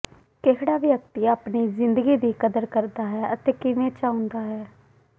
ਕਿਹੜਾ ਵਿਅਕਤੀ ਆਪਣੀ ਜ਼ਿੰਦਗੀ ਦੀ ਕਦਰ ਕਰਦਾ ਹੈ ਅਤੇ ਕਿਵੇਂ ਚਾਹੁੰਦਾ ਹੈ